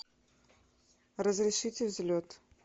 разрешите взлет